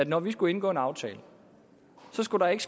at når vi skulle indgå en aftale skulle der ikke